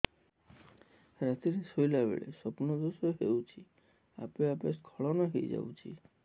ରାତିରେ ଶୋଇଲା ବେଳେ ସ୍ବପ୍ନ ଦୋଷ ହେଉଛି ଆପେ ଆପେ ସ୍ଖଳନ ହେଇଯାଉଛି